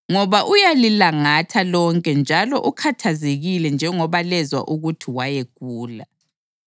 Ngoba uyalilangatha lonke njalo ukhathazekile njengoba lezwa ukuthi wayegula.